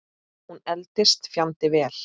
Hún eldist fjandi vel.